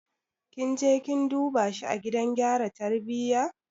Kin je kin duba shi a gidan gyara tarbiyya?